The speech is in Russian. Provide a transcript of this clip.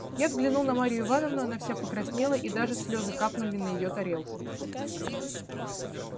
я взглянул на марью ивановну она вся покраснела и даже слезы капнули на её тарелку